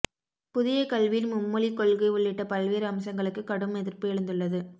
புதிய கல்வியின் மும்மொழி கொள்கை உள்ளிட்ட பல்வேறு அம்சங்களுக்கு கடும் எதிர்ப்பு எழுந்துள்ளது